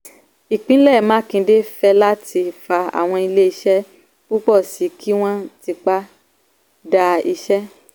ìpínlẹ̀ makinde fẹ́láti fa àwọn ilé iṣẹ́ púpọ̀ sí i kí wọ́n tipa dá iṣẹ́.